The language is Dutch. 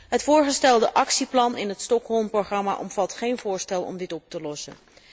Het voorgestelde actieplan in het Stockholm programma omvat geen voorstel om dit op te lossen.